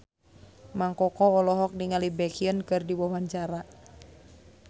Mang Koko olohok ningali Baekhyun keur diwawancara